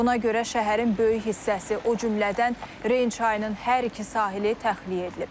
Buna görə şəhərin böyük hissəsi, o cümlədən Reyn çayının hər iki sahili təxliyə edilib.